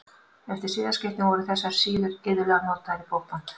Eftir siðaskiptin voru þessar síður iðulega notaðar í bókband.